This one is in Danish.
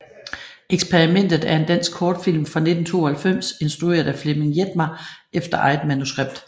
Eksperimentet er en dansk kortfilm fra 1992 instrueret af Flemming Jetmar efter eget manuskript